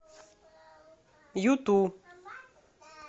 юту